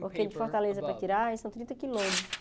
Porque de Fortaleza para Quirais são trinta quilômetros.